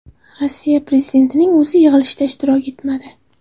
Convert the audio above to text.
Rossiya prezidentining o‘zi yig‘ilishda ishtirok etmadi.